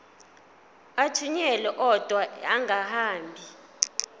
athunyelwa odwa angahambi